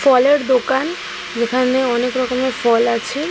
ফলের দোকান। যেখানে অনেক রকমের ফল আছে।